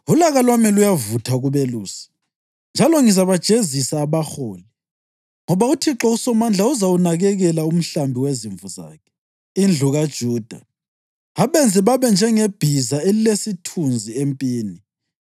“Ulaka lwami luyavutha kubelusi, njalo ngizabajezisa abaholi; ngoba uThixo uSomandla uzawunakekela umhlambi wezimvu zakhe, indlu kaJuda, abenze babe njengebhiza elilesithunzi empini.